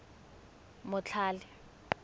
motlhale